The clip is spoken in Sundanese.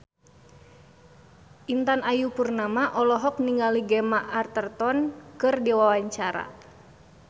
Intan Ayu Purnama olohok ningali Gemma Arterton keur diwawancara